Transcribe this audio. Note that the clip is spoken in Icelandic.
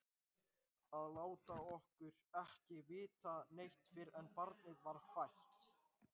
Að láta okkur ekki vita neitt fyrr en barnið var fætt!